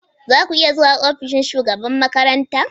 Za ku iya zuwa ofishin shugaban makaranta?